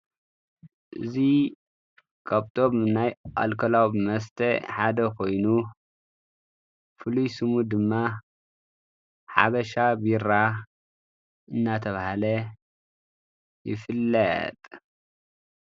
እዚ ካብ ካብቶም ናይ ኣልኮላዊ መሰተ ሓደ ኮይኑ ፍሉይ ሽሙ ድማ ሓበሻ ቢራ እንዳተባሃለ ይፍለጥ።